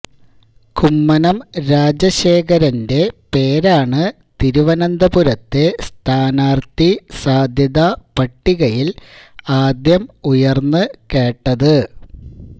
കുമ്മനം രാജശേഖരന്റെ പേരാണ് തിരുവനന്തപുരത്തെ സ്ഥാനാര്ഥി സാധ്യതാ പട്ടികയില് ആദ്യം ഉയര്ന്ന് കേട്ടത്